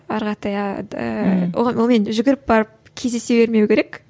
жүгіріп барып кездесе бермеу керек